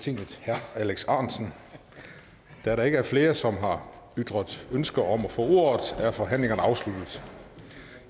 tinget herre alex ahrendtsen da der ikke er flere som har ytret ønske om at få ordet er forhandlingerne afsluttet